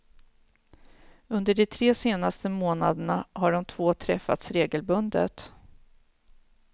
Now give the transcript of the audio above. Under de tre senaste månaderna har de två träffats regelbundet.